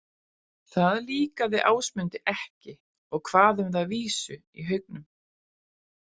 Það líkaði Ásmundi ekki og kvað um það vísu í haugnum.